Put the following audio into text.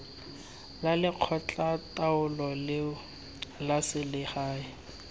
la lekgotlataolo leo la selegae